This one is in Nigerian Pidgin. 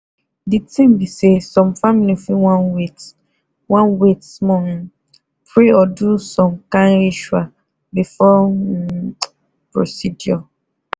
the thing be saysome family fit wan wait wan wait small um pray or do som kin ritual before um procedure